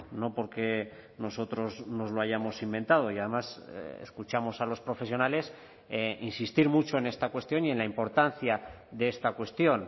no porque nosotros nos lo hayamos inventado y además escuchamos a los profesionales insistir mucho en esta cuestión y en la importancia de esta cuestión